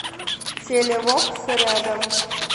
телевокс рядом